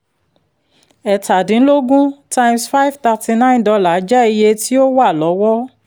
ẹ̀tadínlógún times five thirty nine dollar jẹ́ iye tí ó wà lọ́wọ́